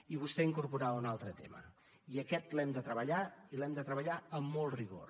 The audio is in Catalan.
i vostè incorporava un altre tema i aquest l’hem de treballar i l’hem de treballar amb molt rigor